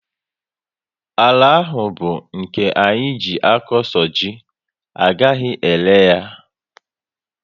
Àlà áhù bu nke anyị jee a kọ so ji, agaghị ere ya